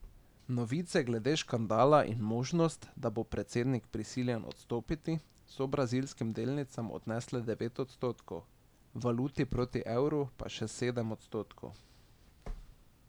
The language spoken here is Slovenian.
Novice glede škandala in možnost, da bo predsednik prisiljen odstopiti, so brazilskim delnicam odnesle devet odstotkov, valuti proti evru pa še dodatnih sedem odstotkov.